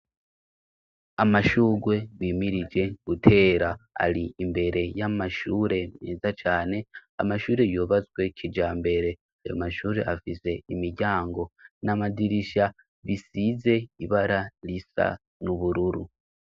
Amashurwe bimirije gutera ari imbere y'amashure meza cane amashure yubazwe kija mbere ayo mashure afise imiryango n'amadirisha bisize ibara risa n'ubururu.